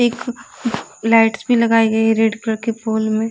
एक लाइट्स भी लगाई गई है रेड कलर के फूल में --